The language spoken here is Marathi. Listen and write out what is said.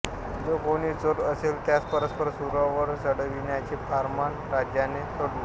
जो कोणी चोर असेल त्यास परस्पर सुळवर चढविण्याचे फर्मान राजाने सोडले